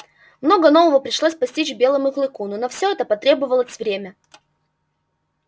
много нового пришлось постичь белому клыку но на всё это потребовалось время